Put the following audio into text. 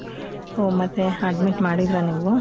ಓಹ್ ಮತ್ತೆ admit ಮಾಡಿದ್ರಾ ನೀವು?